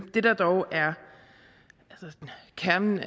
det der dog er kernen